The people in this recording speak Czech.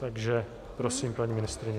Takže prosím, paní ministryně.